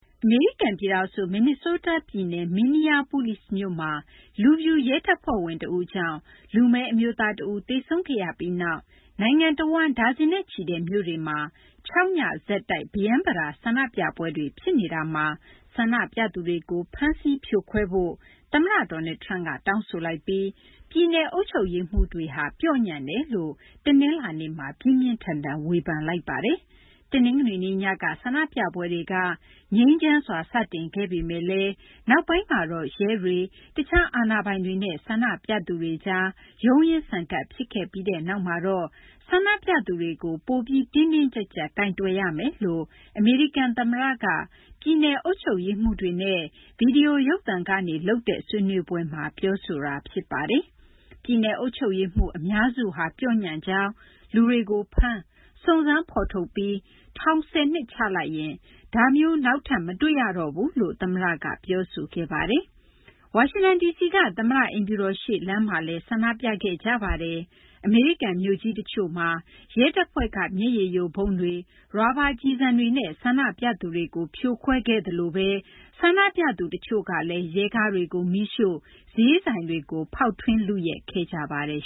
အမေရိကန် ပြည်ထောင်စု မင်နီဆိုးတား ပြည်နယ်Minneapolis မြို့မှာ လူဖြူရဲတပ်ဖွဲ့ဝင် တဦးကြောင့် လူမည်း အမျိုးသား တဦး သေဆုံးခဲ့ရပြီးနောက် နိုင်ငံတဝန်း ဒါဇင်နဲ့ချီတဲ့ မြို့တွေမှာ ၆ ည ဆက်တိုက် ပရမ်းပတာ ဆန္ဒပြပွဲတွေ ဖြစ်နေတာမှာ ဆန္ဒပြသူတွေကို ဖမ်းဆီး ဖြိုခွဲဖို့ သမ္မတ Donald Trump က တောင်းဆိုလိုက်ပြီး ပြည်နယ်အုပ်ချုပ်ရေးမှူးတွေဟာ ပျော့ညံ့တယ်လို့လည်း တနလာၤနေ့မှာ ပြင်းပြင်းထန်ထန် ဝေဖန်လိုက်ပါတယ်။ တနင်္ဂနွေနေ့ ညက ဆန္ဒပြပွဲတွေက ငြိမ်းချမ်းစွာ စတင်ခဲ့ပေမယ့်လည်း နောက်ပိုင်းမှာတော့ ရဲတွေ၊ တခြား အာဏာပိုင်တွေနဲ့ ဆန္ဒပြသူတွေကြား ရုန်းရင်းဆန်ခတ် ဖြစ်ခဲ့ပြီးနောက်မှာတော့ ဆန္ဒပြသူတွေကို ပိုပြီး တင်းတင်းကြပ်ကြပ် ကိုင်တွယ်ရမယ်လို့ အမေရိကန် သမ္မတက ပြည်နယ် အုပ်ချုပ်ရေးမှူးတွေကို ဗွီဒီယိုရုပ်သံနဲ့ လုပ်တဲ့ ဆွေးနွေးပွဲမှာ ပြောဆိုခဲ့တာ ဖြစ်ပါတယ်။ ပြည်နယ်အုပ်ချုပ်ရေးမှူး အများစုဟာ ပျော့ညံ့ကြောင်း၊ လူတွေကို ဖမ်း၊ စုံစမ်းဖော်ထုတ်ပြီး ထောင် ၁၀နှစ် ချလိုက်ရင် ဒါမျိုး နောက်ထပ် မတွေ့ရတော့ဘူးလို့ သမ္မတက ပြောဆိုခဲ့ပါတယ်။ ဝါရှင်တန် ဒီစီက သမ္မတအိမ်ဖြူတော်ရှေ့ လမ်းမှာလည်း ဆန္ဒပြပွဲ ဖြစ်ခဲ့ပါတယ်။ အမေရိကန် မြို့ကြီး တချို့မှာ ရဲတပ်ဖွဲ့က မျက်ရည်ယိုဗုံးတွေ၊ ရာဘာကျည်ဆံတွေနဲ့ ဆန္ဒပြသူတွေကို ဖြိုခွဲခဲ့သလိုဘဲ တချို့ ဆန္ဒပြသူတွေကလည်း ရဲကားတွေကို မီးရှို့၊ ဈေးဆိုင်တွေကို ဖောက်ထွင်း လုယက်ခဲ့ကြပါတယ်